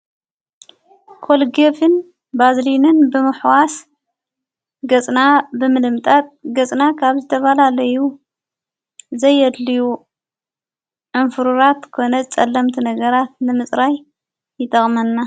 ኮልጌፍን ባዝልንን ብምኅዋስ ገጽና ብምልምጣጥ ገጽና ካብ ዝተባላ ለዩ ዘይድልዩ ዕምፍሩራት ኮነ ጸላምቲ ነገራት ንምጽራይ ይጠቕመና።